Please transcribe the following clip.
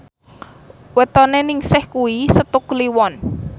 wetone Ningsih kuwi Setu Kliwon